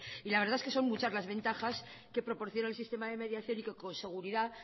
y la verdad es que son muchas las ventajas que proporciona el sistema de mediación y que con seguridad